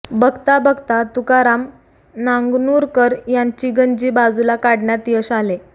बघता बघता तुकाराम नांगनुरकर यांची गंजी बाजूला काढण्यात यश आले